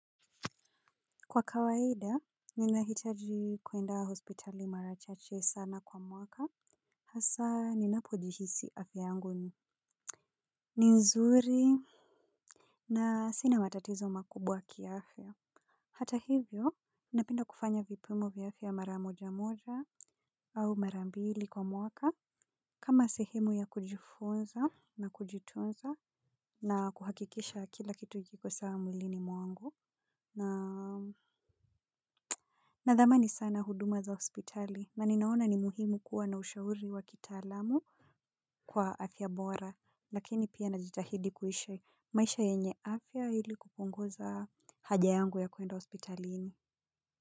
Kwa kawaida, ninahitaji kwenda hospitali mara chache sana kwa mwaka, hasa ninapojihisi afya yangu ni. Ni nzuri na sina matatizo makubwa ki afya. Hata hivyo, napenda kufanya vipimo vya afya maramoja moja au marambili kwa mwaka kama sehemu ya kujifunza na kujitunza na kuhakikisha kila kitu kiko sawa mwilini mwangu na nadhamani sana huduma za hospitali na ninaona ni muhimu kuwa na ushauri wa kitaalamu. Kwa afya bora lakini pia najitahidi kuishi maisha yenye afya ili kupunguza haja yangu ya kwenda hospitalini.